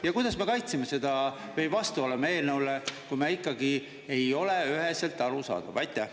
Ja kuidas me kaitseme seda või vastu oleme eelnõule, kui ikkagi ei ole üheselt arusaadav?